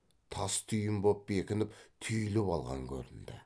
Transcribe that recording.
тас түйін боп бекініп түйіліп алған көрінді